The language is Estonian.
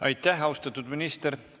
Aitäh, austatud minister!